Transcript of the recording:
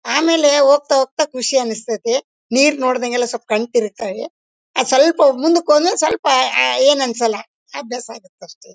ಆಮೇಲೆ ಹೋಗ್ತಾ ಹೋಗ್ತಾ ಖುಷಿ ಅನಸ್ತತ್ತಿ ನೀರ್ ನೋಡಿದಾಗ ಎಲ್ಲ ಸ್ವಲ್ಪ ಕಣ್ಣು ತಿರುಗ್ತಾವೆ ಆ ಸ್ವಲ್ಪ ಮುಂದಕ್ಕೆ ಹೋದ್ಮೇಲೆ ಸ್ವಲ್ಪ ಆ ಏನೂ ಅನ್ಸೋಲ್ಲ ಅಭ್ಯಾಸ ಆಗುತ್ತೆ ಅಷ್ಟೇ.